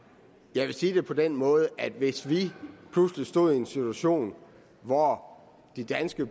vil sige det på den måde at hvis vi pludselig stod i en situation hvor de danske